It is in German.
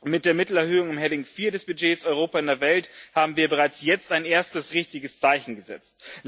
Mit der Mittelerhöhung in Rubrik IV des Budgets Europa in der Welt haben wir bereits jetzt ein erstes richtiges Zeichen gesetzt.